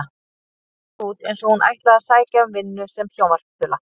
Hún leit út eins og hún ætlaði að sækja um vinnu sem sjónvarpsþula.